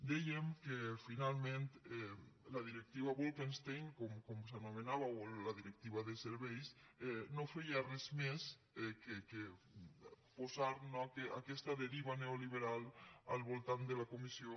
dèiem que finalment la directiva bolkestein com s’anomenava o la directiva de serveis no feia res més que posar no aquesta deriva neoliberal al voltant de la comissió